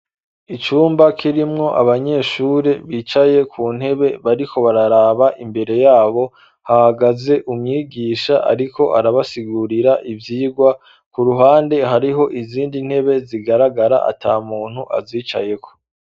Icumba kirimwo abanyeshuri bicaye ku ntebe bariko bararaba imbere yabo hahagaze umwigisha ariko arabasigurira ivyirwa ku ruhande hariho izindi ntebe zigaragara atamuntu azicayeho.